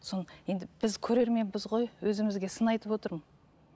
енді біз көрерменбіз ғой өзімізге сын айтып отырмын